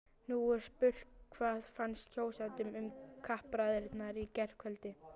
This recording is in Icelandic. Nú er spurt, hvað fannst kjósendum um kappræðurnar í gærkvöld?